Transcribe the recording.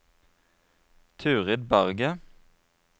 Turid Berget